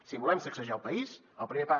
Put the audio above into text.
si volem sacsejar el país el primer pas